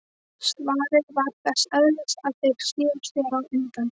Svarið var þess eðlis að þeir sneru sér undan.